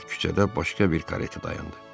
Bu vaxt küçədə başqa bir kareta dayandı.